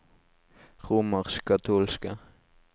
romerskkatolske